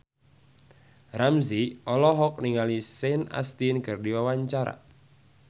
Ramzy olohok ningali Sean Astin keur diwawancara